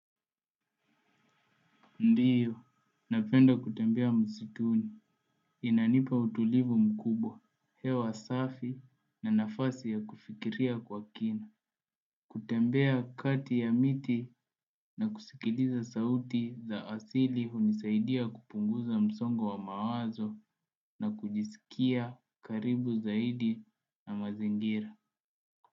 Ndiyo, napenda kutembea msituni, inanipa utulivu mkubwa, hewa safi na nafasi ya kufikiria kwa kina. Kutembea kati ya miti na kusikiliza sauti za asili hunisaidia kupunguza msongo wa mawazo na kujisikia karibu zaidi na mazingira.